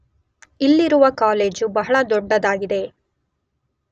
ಇಲ್ಲಿರುವ ಕಾಲೇಜು ಬಹಳ ದೊಡ್ಡದಾಗಿದೆ.